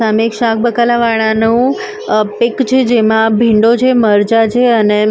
સામે એક શાકબકાલા વાડાનું અ પીક છે જેમાં ભીંડો છે મરચાં છે અને --